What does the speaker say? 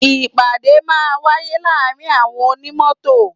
Ìpàdé máa ń wáyé láàárín àwọn onímọ́tò.